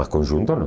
Mas conjunto não.